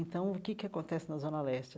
Então, o que que acontece na Zona Leste?